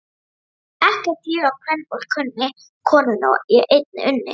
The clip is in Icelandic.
Ekkert ég á kvenfólk kunni, konunni ég einni unni.